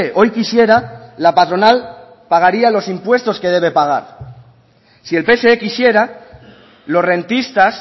hoy quisiera la patronal pagaría los impuestos que debe pagar si el pse quisiera los rentistas